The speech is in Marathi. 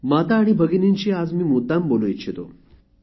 माता आणि भगिनींशी आज मी मुद्दाम बोलू इच्छितो